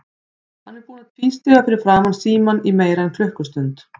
Hann er búinn að tvístíga fyrir framan símann í meira en klukkustund.